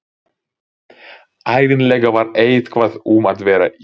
Ævinlega var eitthvað um að vera í